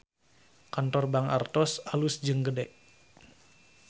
Kantor Bank Artos alus jeung gede